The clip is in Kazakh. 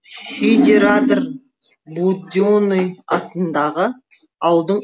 шидерадыр буденый атындағы ауылдың